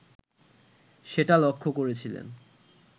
সেটা লক্ষ করেছিলেন